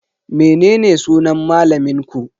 Menene sunan malamin ku?